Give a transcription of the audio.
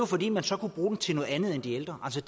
fordi man så kunne bruge den til noget andet end de ældre altså